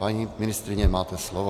Paní ministryně, máte slovo.